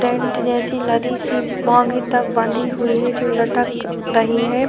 Tent जैसे लड़ी सी बांध रखी है जो लटक रही है।